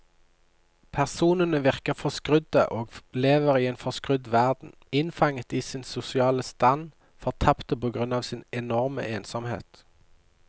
Personene virker forskrudde og lever i en forskrudd verden, innfanget i sin sosiale stand, fortapte på grunn av sin enorme ensomhet.